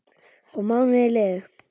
Og mánuðir liðu.